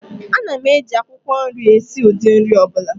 Ana m eji akwukwo nri esi ụdị nri ọ bụla